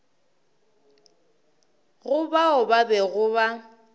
go bao ba bego ba